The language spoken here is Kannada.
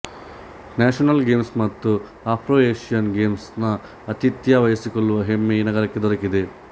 ನ್ಯಾಷನಲ್ ಗೇಮ್ಸ್ ಮತ್ತು ಆಫ್ರೊಏಷಿಯನ್ ಗೇಮ್ಸ್ ನ ಆತಿಥ್ಯ ವಹಿಸಿಕೊಳ್ಳುವ ಹೆಮ್ಮೆ ಈ ನಗರಕ್ಕೆ ದಕ್ಕಿದೆ